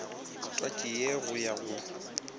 twatši ye go ya go